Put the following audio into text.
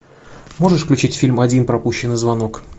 можешь включить фильм один пропущенный звонок